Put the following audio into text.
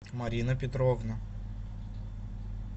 марина петровна